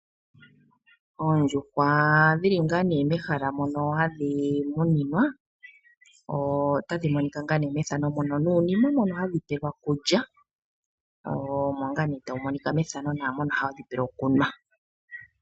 Oondjuhwa dhi li ngaa nee mehala moka hadhi muninwa otadhi monika. Nuunima mono hadi pelwa okulya nokunwa otawu monika.